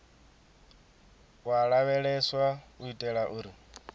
u lavheleswa u itela uri